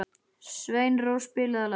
Sveinrós, spilaðu lag.